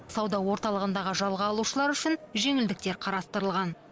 сауда орталығындағы жалға алушылар үшін жеңілдіктер қарастырылған